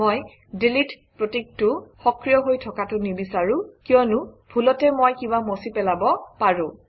মই ডিলিট প্ৰতীকটো সক্ৰিয় হৈ থকাটো নিবিচাৰোঁ কিয়নো ভুলতে মই কিবা মচি পেলাব পাৰোঁ